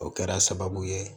O kɛra sababu ye